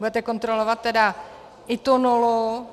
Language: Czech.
Budete kontrolovat tedy i tu nulu.